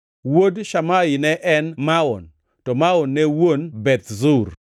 Wuod Shamai ne en Maon, to Maon ne wuon Beth Zur.